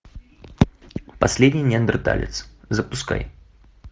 последний неандерталец запускай